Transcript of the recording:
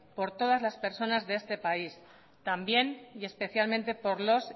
por todas las personas de este país también y especialmente por los